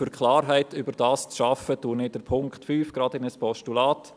Um Klarheit darüber zu schaffen, wandle ich den Punkt 5 direkt in ein Postulat.